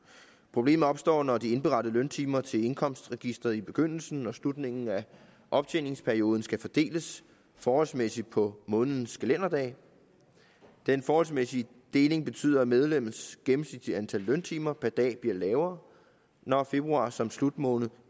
problemet opstår når de indberettede løntimer til indkomstregisteret i begyndelsen og slutningen af optjeningsperioden skal fordeles forholdsmæssigt på månedens kalenderdage den forholdsmæssige deling betyder at medlemmets gennemsnitlige antal løntimer per dag bliver lavere når februar som slutmåned